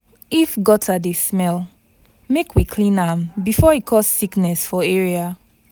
If gutter dey smell, make we clean am before e cause sickness for area.